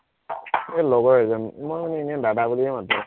এৰ লগৰ এজন মই মানে এনেই দাদা বুলিয়েই মাতো